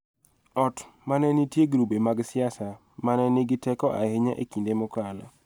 Ot ma ne nitie grube mag siasa ma ne nigi teko ahinya e kinde mokalo�